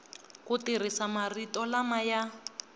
ku tirhisa marito lama ya